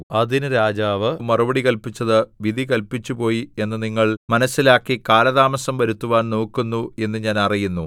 അതിന് രാജാവ് മറുപടി കല്പിച്ചത് വിധി കല്പിച്ചുപോയി എന്ന് നിങ്ങൾ മനസ്സിലാക്കി കാലതാമസം വരുത്തുവാൻ നോക്കുന്നു എന്ന് ഞാൻ അറിയുന്നു